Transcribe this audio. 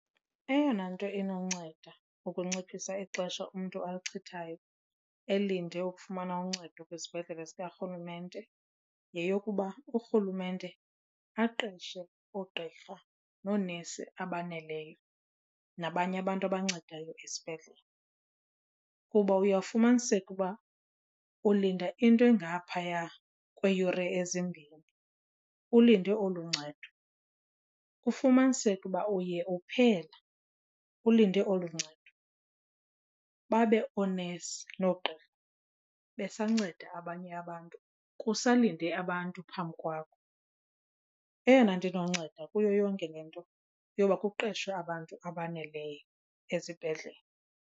Eyona nto inonceda ukunciphisa ixesha umntu alichithekayo elinde ukufumana uncedo kwisibhedlele sikaRhulumente yeyokuba uRhulumente aqeshe oogqirha noonesi abaneleyo nabanye abantu abancedayo esibhedlele. Kuba uyawufumaniseke uba ulinda into engaphaya kweeyure ezimbini ulinde olu ncedo, ufumaniseke uba uye uphela ulinde olu ncedo babe oonesi oogqirha besanceda abanye abantu kusalinde abantu phambi kwabo. Eyona nto inonceda kuyo yonke le nto yoba kuqeshwe abantu abaneleyo ezibhedlele.